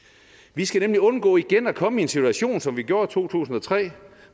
vi skal nemlig undgå igen at komme i en situation som vi gjorde i to tusind og tre